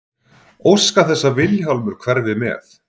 Óska þess að Vilhjálmur hverfi með.